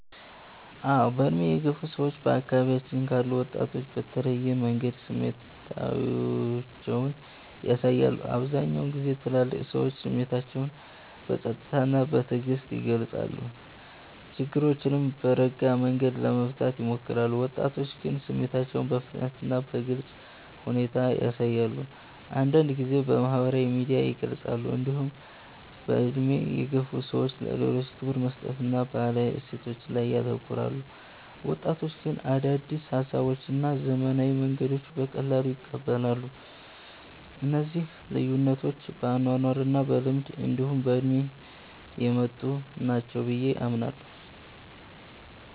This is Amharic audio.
አዎ። በዕድሜ የገፉ ሰዎች በአካባቢያችን ካሉ ወጣቶች በተለየ መንገድ ስሜታቸውን ያሳያሉ። አብዛኛውን ጊዜ ትልልቅ ሰዎች ስሜታቸውን በጸጥታ እና በትዕግስት ይገልጻሉ፣ ችግሮችንም በረጋ መንገድ ለመፍታት ይሞክራሉ። ወጣቶች ግን ስሜታቸውን በፍጥነት እና በግልጽ ሁኔታ ያሳያሉ፣ አንዳንድ ጊዜም በማህበራዊ ሚዲያ ይገልጻሉ። እንዲሁም በዕድሜ የገፉ ሰዎች ለሌሎች ክብር መስጠትን እና ባህላዊ እሴቶችን ላይ ያተኩራሉ። ወጣቶች ግን አዳዲስ ሀሳቦችን እና ዘመናዊ መንገዶችን በቀላሉ ይቀበላሉ። እነዚህ ልዩነቶች በአኗኗር እና በልምድ እንዲሁ በእድሜ የመጡ ናቸው ብየ አምናለሁ።